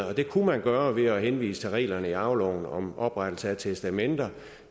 og det kunne man gøre ved at henvise til reglerne i arveloven om oprettelse af testamenter